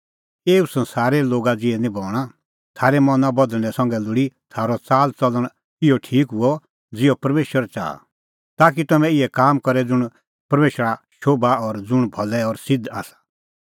एऊ संसारे लोगा ज़िहै निं बणां थारै मना बदल़णैं संघै लोल़ी थारअ च़ाल च़लण इहअ ठीक हुअ ज़िहअ परमेशर च़ाहा ताकि तम्हैं इहै काम करे ज़ुंण परमेशरा शोभा और ज़ुंण भलै और सिध्द आसा